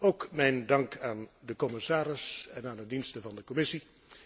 Ook mijn dank aan de commissaris en aan de diensten van de Commissie.